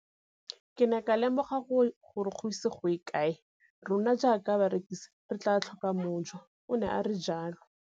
Ke ne ka lemoga gore go ise go ye kae rona jaaka barekise re tla tlhoka mojo, o ne a re jalo.